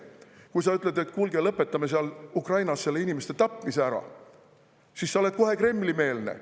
Kui sa ütled, et kuulge, lõpetame seal Ukrainas inimeste tapmise ära, siis sa oled kohe Kremli‑meelne.